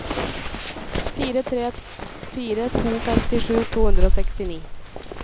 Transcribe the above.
fire tre fire to femtisju to hundre og sekstini